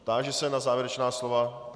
Táži se na závěrečná slova.